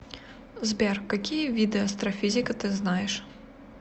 сбер какие виды астрофизика ты знаешь